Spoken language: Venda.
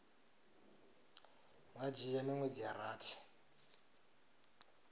nga dzhia miṅwedzi ya rathi